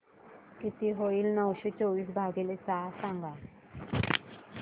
किती होईल नऊशे चोवीस भागीले सहा सांगा